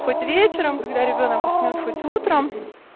хоть вечером когда ребёнок уснёт хоть утром